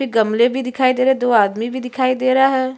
फिर गमले भी दिखाई दे रहे है। दो आदमी भी दिखाई दे रहा है।